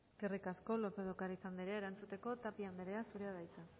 eskerrik asko lópez de ocariz anderea erantzuteko tapia anderea zurea da hitza